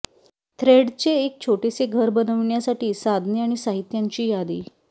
थ्रेडचे एक छोटेसे घर बनविण्यासाठी साधने आणि साहित्यांची यादी